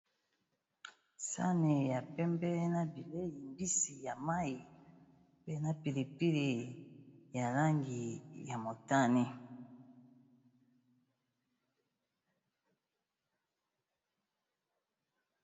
sani ya pembe na bileyi mbisi ya mayi mpe na pilipili ya langi ya motane.